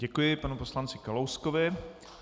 Děkuji panu poslanci Kalouskovi.